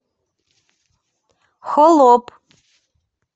холоп